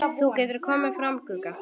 Þú getur komið fram, Gugga!